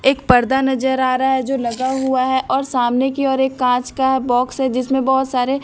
एक पर्दा नजर आ रहा है जो लगा हुआ है और सामने की ओर एक कांच का बॉक्स है जिसमें बहुत सारे--